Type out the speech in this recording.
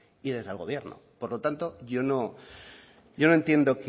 y desde el gobierno por lo tanto yo no yo no entiendo